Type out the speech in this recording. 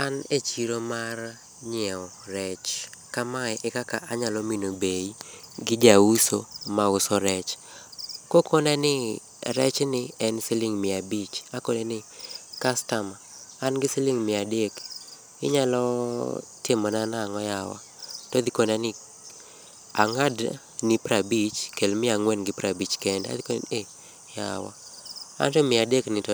An e chiro mar nyiew rech ka ma ekaka anya mino bei gi ja uso ma uso rech. Ka okona ni rech en siling mia abich to akone ni kastama an gi siling mia adek inyalo timo na nang'o yawa, to odhi kona ni ang'ad ni prabich kel mia angwen gi piero abich kende. ei yawa anto mia adek to